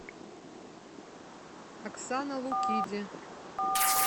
оксана лукиди